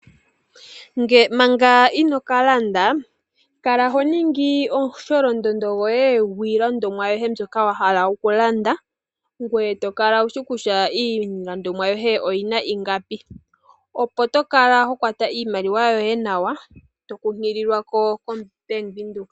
Manga ino ka landa kala ho ningi omusholondondo gwiinima mbyoka wa hala okulanda ngoye to kala wushi kutya iilandithomwa yoye oyi na ingapi opo to kala to kwata iimaliwa yoye nawa to nkunkilile koBank Windhoek.